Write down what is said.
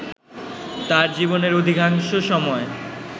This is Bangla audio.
তাঁর জীবনের অধিকাংশ সময়